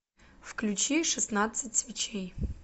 включи шестнадцать свечей